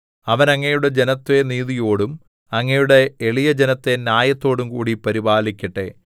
അവൻ അങ്ങയുടെ ജനത്തെ നീതിയോടും അങ്ങയുടെ എളിയജനത്തെ ന്യായത്തോടും കൂടി പരിപാലിക്കട്ടെ